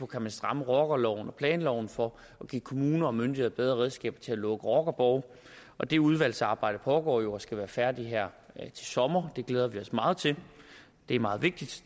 kan stramme rockerloven og planloven for at give kommuner og myndigheder bedre redskaber til at lukke rockerborge og det udvalgsarbejde foregår jo og skal være færdigt her til sommer det glæder vi os meget til det er meget vigtigt